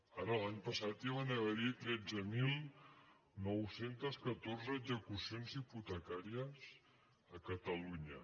ara l’any passat ja van haver·hi tretze mil nou cents i catorze execucions hipotecàries a catalunya